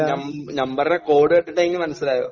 നം നമ്പറിലെ കോഡ് കണ്ടിട്ടെങ്കിലും മനസ്സിലായോ?